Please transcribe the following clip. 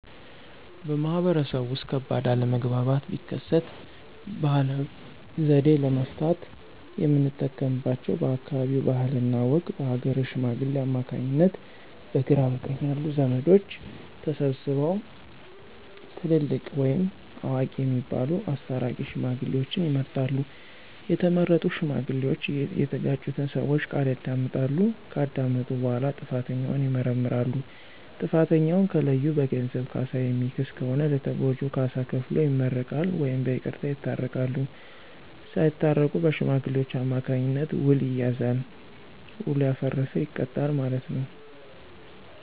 በማህበረሰቡ ውስጥ ከባድ አለመግባባት ቢከሰት ባህላዊ ዘዴ ለመፍታት የምንጠቀምባቸው በአካባቢው ባህልና ወግ በሀገረ ሽማግሌዎች አማካኝነት በግራ በቀኝ ያሉ ዘመዶች ተሰብስበው ትልልቅ ወይም አዋቂ የሚባሉት አስታራቂ ሽማግሌዎችን ይመርጣሉ። የተመረጡ ሽማግሌዎች እየተጋጩትን ሰወች ቃል ያዳምጣሉ። ከዳመጡ በኋላ ጥፋተኛውን ይመረምራሉ። ጥፋተኛውን ከለዩ በገንዘብ ካሳ የሚክስ ከሆነ ለተጎጁ ካሳ ከፍሎ ይመረቃል ወይም በይቅርታ ይታረቃሉ። ሳታረቁ በሽማግሌዎች አማካኝነት ዉል ይያያዛል። ዉሉ ያፈረሰ ይቀጣል ማለት ነው።